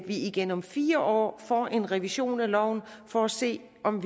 igen om fire år får en revision af loven for at se om